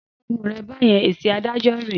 Dákẹ́ ẹnu rẹ̀ báyẹn! Èsì adájọ́ rèé.